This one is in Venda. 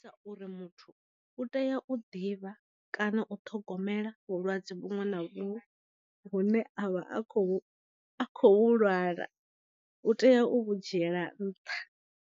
Sa uri muthu u tea u ḓivha kana u ṱhogomela vhulwadze vhuṅwe na vhuṅwe vhune avha a kho a khou lwala u tea u vhu dzhiela nṱha.